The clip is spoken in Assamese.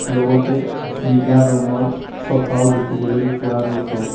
লগতে নীলা ৰঙৰ চফাও দেখিবলৈ পোৱা গৈছে।